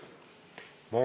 Aitäh!